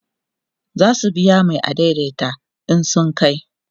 zasu biya Mai adaidaita in sun kai